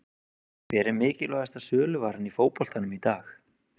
Hver er mikilvægasta söluvaran í fótboltanum í dag?